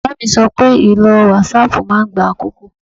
Bàbá mi sọ pé ìlò whatsapp máa ń gba àkókò